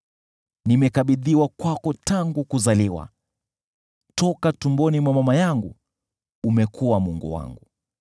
Nimekabidhiwa kwako tangu kuzaliwa, toka tumboni mwa mama yangu umekuwa Mungu wangu.